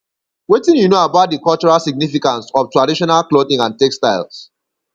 wetin you know about di cultural significance of traditional clothing and textiles